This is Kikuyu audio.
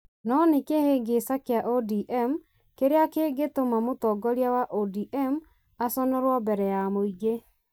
No nĩ kĩhĩngĩca kĩa ODM kĩrĩa kĩngĩtũma mũtongoria wa ODM aconorũo mbere ya mũingĩ